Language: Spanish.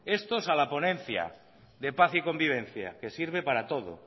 estos a la ponencia de paz y convivencia que sirve para todo